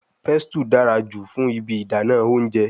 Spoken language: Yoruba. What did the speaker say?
Pestle dara julọ fun ibi idana ounjẹ